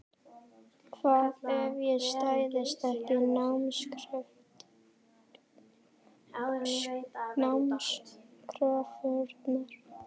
Hvað ef ég stæðist ekki námskröfurnar?